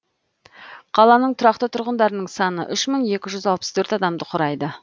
қаланың тұрақты тұрғындарының саны үш мың екі жүз алпыс төрт адамды құрайды